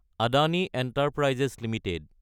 Adani enterprises Ltd